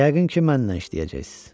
Yəqin ki, mənlə işləyəcəksiz.